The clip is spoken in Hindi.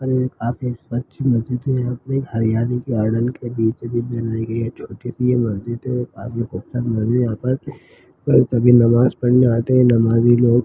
--और एक काफी एक स्वच्छ मस्जिद है यहाँ पे एक हरियाली गार्डन के बीचो बीच बनाई गयी ये छोटी सी मस्जिद है और आगे पत्थर लगे है यहाँ पर सभी नमाज़ पढ़ने आते है नमाज़ी लोग।